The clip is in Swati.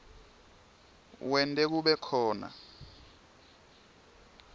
wente kube khona